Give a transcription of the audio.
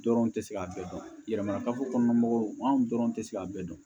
Dɔrɔn tɛ se k'a bɛɛ dɔn yɛlɛmana ka fɔ kɔnɔna mɔgɔw an dɔrɔn tɛ se k'a bɛɛ dɔn